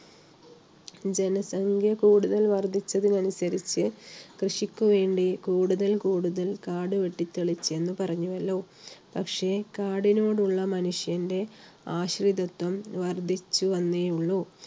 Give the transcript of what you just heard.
ജനസംഖ്യ കൂടുതൽ വർദ്ധിച്ചതിനനുസരിച്ച് കൃഷിക്ക് വേണ്ടി കൂടുതൽ കൂടുതൽ കാടുവെട്ടി തെളിച്ചെന്ന് പറഞ്ഞുവല്ലോ, പക്ഷേ കാടിനോടുള്ള മനുഷ്യന്റെ ആശ്രിതത്വം വർദ്ധിച്ചു വന്നേയുള്ളു.